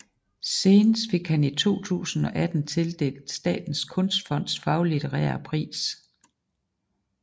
Senest fik han i 2018 tildelt Statens Kunstfonds Faglitterære pris